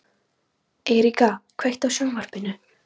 Eiríka, kveiktu á sjónvarpinu.